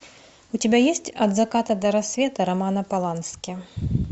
у тебя есть от заката до рассвета романа полански